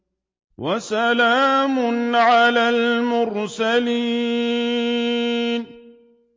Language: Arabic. وَسَلَامٌ عَلَى الْمُرْسَلِينَ